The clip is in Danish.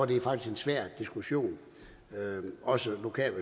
det faktisk en svær diskussion også lokalt